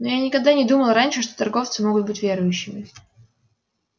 но я никогда не думал раньше что торговцы могут быть верующими